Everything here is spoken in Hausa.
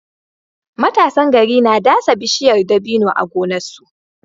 Matasan gari na dasa bishiyar dabino a gonarsu